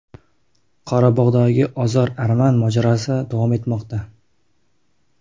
Qorabog‘dagi ozar-arman mojarosi davom etmoqda.